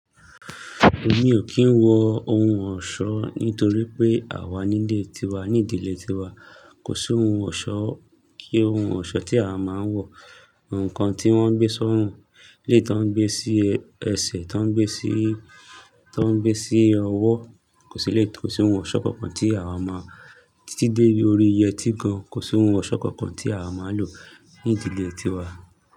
Èmi ò kì ń wọ ohun ọ̀ṣọ́ nítorí pé àwa nílé ti wa, ní ìdílé ti wa kò sí ohun ọ̀ṣọ́ kí ohun ọ̀ṣọ́ tí a máa ń wọ. Ǹkan tí wọ́n ń gbé sọ́rùn, eleyii tí wọ́n ń gbé sí ẹsẹ̀, tí wọ́n ń gbé sí, tí wọ́n ń gbé sí ọwọ́ kò sí lé, kò sí oun ọ̀ṣọ́ kankan tí àwa máa, títí dé orí yẹtí gan kò sí oun ọ̀ṣọ́ kankan tí awa máa ń lò ní ìdílé ti wa.